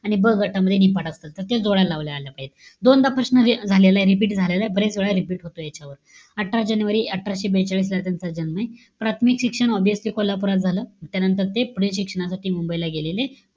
आणि ब गटामध्ये, निफाड असत. त ते जोड्या लावा आलं पाहिजे. दोनदा प्रश्न झालेलाय, repeat झालेलाय. बऱ्याच वेळा repeat होतो याच्यावर. अठरा जानेवारी अठराशे बेचाळीसला त्यांचा जन्मय. प्राथमिक शिक्षण obviously कोल्हापुरात झालं. त्यानंतर ते, पुढे शिक्षणासाठी मुंबईला गेलेले,